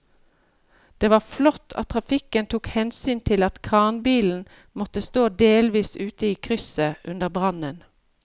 Det var flott at trafikken tok hensyn til at kranbilen måtte stå delvis ute i krysset under brannen.